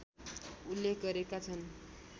उल्लेख गरेका छन्